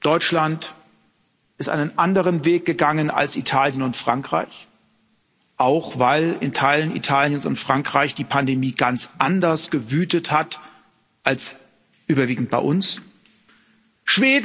Deutschland ist einen anderen Weg gegangen als Italien und Frankreich, auch weil in Teilen Italiens und Frankreichs die Pandemie ganz anders gewütet hat als dies überwiegend bei uns der Fall war.